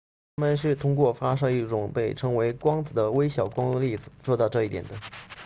它们是通过发射一种被称为光子的微小光粒子做到这一点的